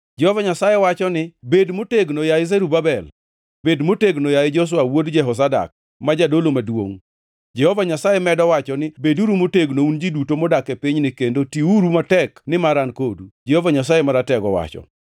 Jehova Nyasaye wacho ni, ‘Bed motegno, yaye Zerubabel. Bed motegno, yaye Joshua wuod Jehozadak, ma jadolo maduongʼ.’ Jehova Nyasaye medo wacho ni, ‘Beduru motegno, un ji duto modak e pinyni kendo tiuru matek nimar an kodu,’ Jehova Nyasaye Maratego owacho.